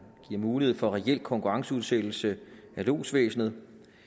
giver mulighed for reel konkurrenceudsættelse af lodsvæsenet